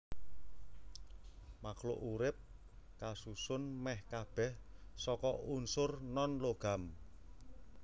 Makhluk urip kasusun mèh kabèh saka unsur nonlogam